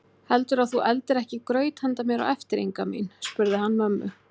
Heldurðu að þú eldir ekki graut handa mér á eftir Inga mín? spurði hann mömmu.